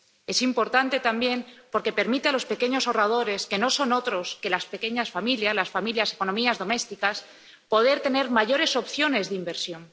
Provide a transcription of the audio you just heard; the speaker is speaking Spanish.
Es importante también porque permite a los pequeños ahorradores, que no son otros que las pequeñas familias, las economías domésticas, poder tener mayores opciones de inversión.